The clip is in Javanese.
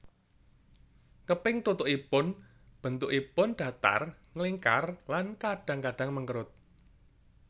Keping tutuk ipun bentukipun datar nglingkar lan kadang kadang mengkerut